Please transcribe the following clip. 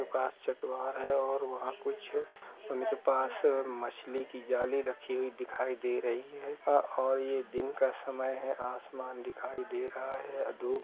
चटवार है और वहां कुछ उनके पास मछली की जाली रखी हुई दिखाई दे रही है अ और ये दिन का समय आसमान दिखाई दे रहा है अ धूप --